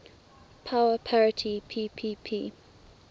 power parity ppp